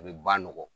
A bɛ ba nɔgɔ